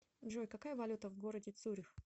джой какая валюта в городе цюрих